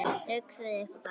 Hugsið ykkur bara!